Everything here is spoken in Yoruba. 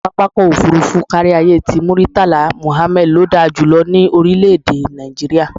Pápá ọkọ̀ òfuurufú káríayé ti Murtala Muhammad ló da jù lọ ní orílẹ̀-èdè Nàìjíríà.